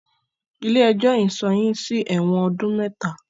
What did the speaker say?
Ilé ẹjọ́ yìí sọ yín sí ẹ̀wọ̀n ọdún mẹta!